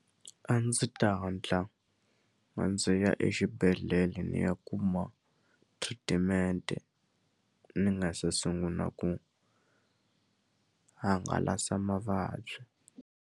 A ndzi ta hatla a ndzi ya exibedhlele ni ya kuma treatment-e ni nga se sunguna ku hangalasa mavabyi.